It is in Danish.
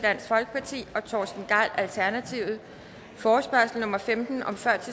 og torsten gejl forespørgsel nummer femten